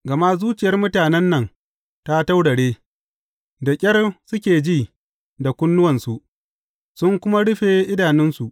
Gama zuciyar mutanen nan ta taurare; da ƙyar suke ji da kunnuwansu, sun kuma rufe idanunsu.